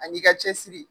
Ani ka cɛsiri